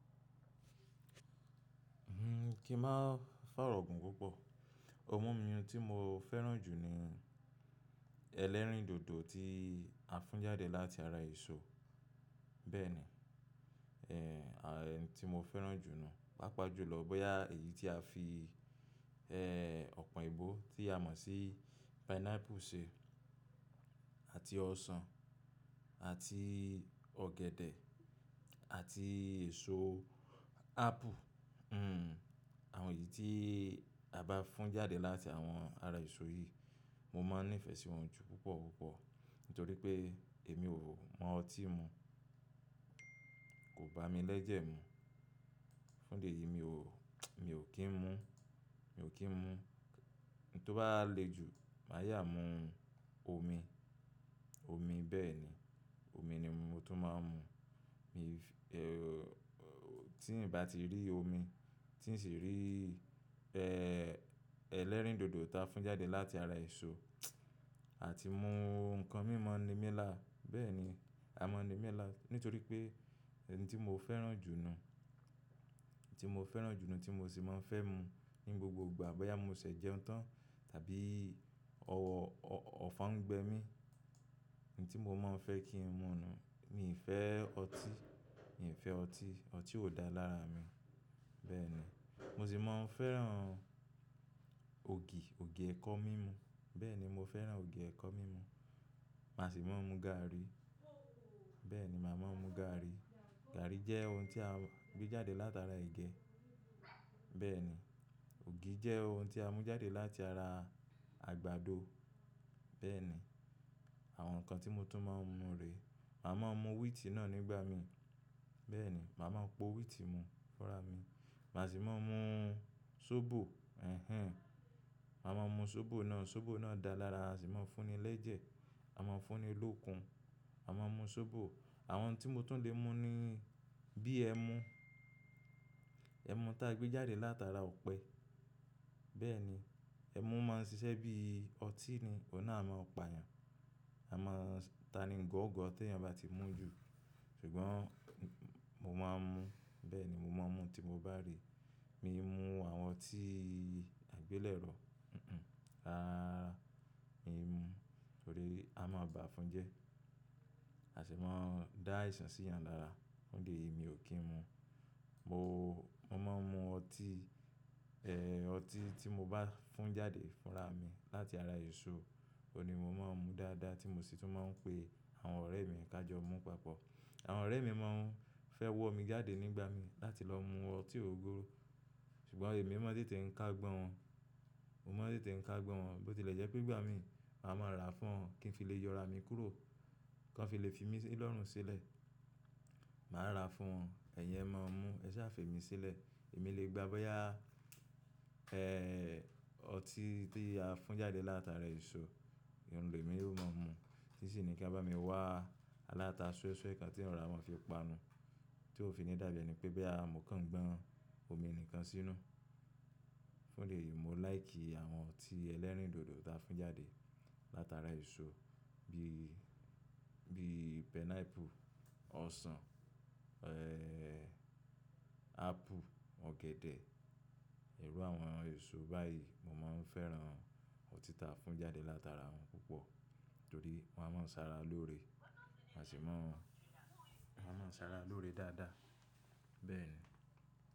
Hmm kí máa fàrọ gùn púpọ̀. Ohùn mí mú tí mo fẹ́ràn jù ni ẹlẹ́rìndòdò tí a fún jáde láti ara èso. Bẹ́ẹ̀ni, à èyí ti mo fẹ́ràn jù nù. Pápá jùlọ bóyá èyí tí a fi ọ̀pọ̀ èébó tí a mọ̀ sí pineapple ṣe àti ọsàn àti ọ̀gẹ̀dẹ̀ àti èso apple. Àwọn èyì tí a bá fún jáde láti àwọn ara èso yìí, mo máa ń nífẹ̀ẹ́ sí wọn jù púpọ̀ púpọ̀ nítorí pé èmi ò mọ ọtí mu. Kò bá mi lẹ́jẹ̀ mu. Fún deyì mi ò, mi ò kí ń mú, mi ò kí ń mú. Èyí tó bá le jù, màá yá mú omi. Omi bẹ́ẹ̀ni, omi ni mo tún máa ń mu. Tí ń bá ti rí omi, tí ń ṣì rí ẹlẹ́rìndòdò ta fún jáde láti ara èso àti mú nǹkan mí maa ni mílà. Bẹ́ẹ̀ni, a mọ̀ nímí là. Nítorí pé ẹni tí mo fẹ́ràn jù nù, tí mo fẹ́ràn jù nù, tí mo ṣì máa ń fẹ́ mu ní gbogbo ìgbà bóyá mọ ṣẹ̀ jẹun tán tàbí ọ̀fu ń gbẹ mí. N tí mo máa ń fẹ́ kí ń mu nù. Mi i fẹ́ ọtí, mi ò fẹ́ ọtí. Ọtí ò dáa lára mi. Bẹ́ẹ̀ni, mọ ṣì máa ń fẹ́ràn ògì, ògì ẹ̀kọ mímú. Bẹ́ẹ̀ni, mo fẹ́ràn ògì ẹ̀kọ mímú. Màá ṣì máa ń mu gààrí. Bẹ́ẹ̀ni, màá máa ń mu gààrí. Gààrí jẹ́ ohun tí a gbé jáde látara ẹ̀gẹ́. Bẹ́ẹ̀ni, ògì jẹ́ ohun tí a mú jáde láti ara àgbàdo. Bẹ́ẹ̀ni, àwọn nǹkan tí mo tún máa ń mu rè. Mà má mu wíìtì náà nígbà mi. Bẹ́ẹ̀ni, mà má po wíìtì mu fúnra mi. Mà sì máa mu sóbò. Ẹhẹ́n. Má má mu sóbò náà. Sóbò náà dáa lára. A ṣì máa fún ni lẹ́jẹ̀. A máa fún ni lókun. A máa ń mu sóbò. Àwọn tí mo tún lè mu níí bí ẹmu. Ẹmu tá gbé jáde látara ọ̀pẹ. Bẹ́ẹ̀ni, ẹmu máa ń ṣiṣẹ́ bíí ọtí ni. Òun náà a máa pa èèyàn. A máa ta ní gọ̀ọ̀gọ̀ tèèyàn bá ti mú jù. Ṣùgbọ́n mo máa ń mu. Bẹ́ẹ̀ni, mọ máa ń mu tí mọ bá rí. Mii mú àwọn ọtí àgbélẹ̀rọ. Hhm, rárá rárá, mi ò mú. Torí, a máa bá fún jẹ́. A ṣì máa ń dá àìsàn sí èèyàn lára. Fún idi eyì mi ò kí ń mu. Mo, mo máa ń mu ọtí, ọtí tí mo bá fún jáde fúnra mi láti ara èso. Ó ni mo máa ń mu dáadáa tí mọ sì tún máa ń pe àwọn ọ̀rẹ́ mi ká jọ mu papọ̀. Àwọn ọ̀rẹ́ mi máa ń fẹ́ wọ́ mi jáde nígbà mi láti lọ mu ọtí ògógóró. Ṣùgbọ́n èmi máa ń tètè ń ká ọ̀gbọ́n wọn. Mo máa ń tètè ń ká ọ̀gbọ́n wọn bó ti lẹ̀ jẹ́ pé ìgbà mí, mà ma ra fún wọn kí n fi lè yọra mi kúrò. Kí wọn fi lè fi mí lọ́rùn sílẹ̀. Màá ra fún wọn. Ẹ̀yin ẹ máa mu, ẹ ṣá fè mí sílẹ̀. Èmi lè gbà bóyá ọtí tí a fún jáde látara èso, ohùn lè mi yóò máa mú. Tí ṣì ni kí a bá mi wá aláta sọ́ẹ́sọ́ẹ́ kan tí wọn ra má fi panu. Tí ó fi ní dàbí ẹni pé bóyá mọ kan gbọ́n omi nìkan sínú. Fún idi èyì mo láì kì i àwọn ọtí ẹlẹ́rìndòdò ta fún jáde látara èso bí, bí pineapple, ọsàn, apple, ọ̀gẹ̀dẹ̀. Ìru àwọn èso báyìí mo máa ń fẹ́ràn ọtí ta fún jáde látara wọn púpọ̀. Nítorí wọn a má ṣara lóore. A ṣì máa, a má ṣara lóore dáadáa. Bẹ́ẹ̀ni.